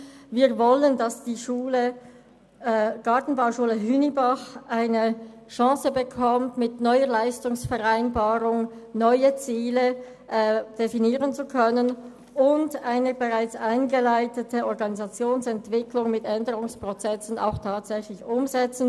Wir wollen, dass die Gartenbauschule Hünibach eine Chance bekommt, um mit einer neuen Leistungsvereinbarung neue Ziele zu definieren und die bereits eingeleitete Organisationsentwicklung mit Änderungsprozessen auch umzusetzen.